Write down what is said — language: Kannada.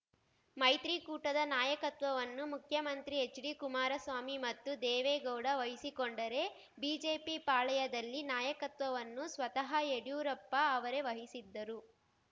ಮೈತ್ರಿಕೂಟದ ನಾಯಕತ್ವವನ್ನು ಮುಖ್ಯಮಂತ್ರಿ ಎಚ್‌ಡಿ ಕುಮಾರಸ್ವಾಮಿ ಮತ್ತು ದೇವೇಗೌಡ ವಹಿಸಿಕೊಂಡರೆ ಬಿಜೆಪಿ ಪಾಳಯದಲ್ಲಿ ನಾಯಕತ್ವವನ್ನು ಸ್ವತಃ ಯಡಿಯೂರಪ್ಪ ಅವರೇ ವಹಿಸಿದ್ದರು